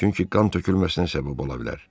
Çünki qan tökülməsinə səbəb ola bilər.